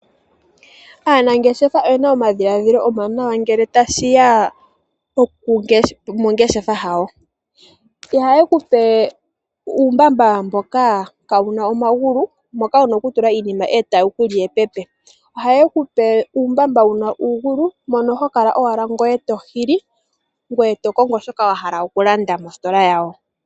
Aanangeshefa oyena omadhiladhilo omawaanawa ngele tashi ya mongeshefa yawo. Ihaye ku pe uumbamba mboka kaa wuna omagulu moka wuna oku tula iinima e tawu ku li epepe, ohaye ku pe uumbamba wuna uugulu mono ho kala owala ngoye to hili, ngoye to kongo shoka wa hala oku landa mositola yawo.